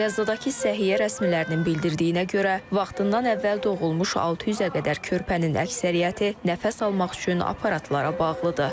Qəzzadakı səhiyyə rəsmilərinin bildirdiyinə görə, vaxtından əvvəl doğulmuş 600-ə qədər körpənin əksəriyyəti nəfəs almaq üçün aparatlara bağlıdır.